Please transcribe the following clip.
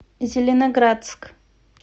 зеленоградск